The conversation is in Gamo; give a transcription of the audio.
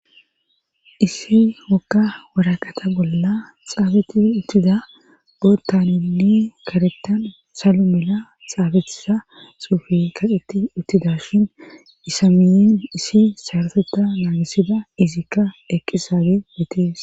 Issi wokka waraqata bolla xaabeti uttida botanli karettan salumela xaabetisa suufi kaqetti uttida shin isamiyen isi saroteta naagisida izikka eqqi saage betees.